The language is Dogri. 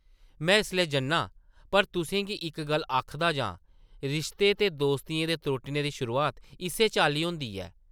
मैं इसलै जन्नां, पर तुसें गी इक गल्ल आखदा जां— रिश्तें ते दोस्तियें दे त्रुट्टने दी शुरुआत इस्सै चाल्ली होंदी ऐ ।